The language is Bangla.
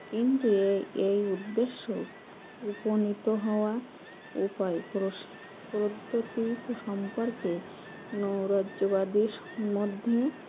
কিন্তু এই এই উদ্দেশ্যে উপনীত হওয়া উপায় প্রসা প্রত্তুতি সম্পর্কে নৈরাজ্যবাদী সম্বন্ধে